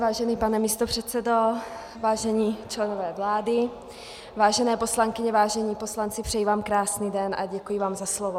Vážený pane místopředsedo, vážení členové vlády, vážené poslankyně, vážení poslanci, přeji vám krásný den a děkuji vám za slovo.